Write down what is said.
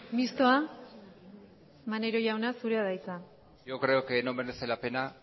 mistoa maneiro jauna zurea da hitza yo creo que no merece la pena